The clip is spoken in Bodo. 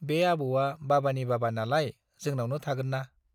बे आबौवा बाबानि बाबा नालाय जोनावनो थागोन ना !